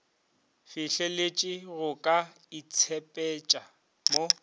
fihleletše go ka itshepetša mo